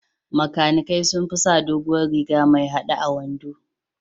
Makanikai sun fi sa doguwar riga mai haɗe a wando.